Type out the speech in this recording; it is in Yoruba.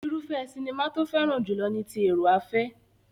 Irúfẹ́ sinimá tó fẹ́ràn jùlọ ni ti èrò-afẹ́.